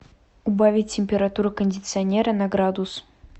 убавить температуру кондиционера на градус